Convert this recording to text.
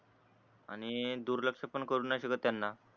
आणि दुर्लक्ष पण करू नई करू शकत त्यांना